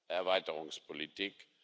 Erweiterungspolitik.